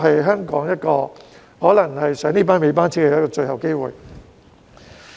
因此，這可能是香港坐上"尾班車"的最後機會。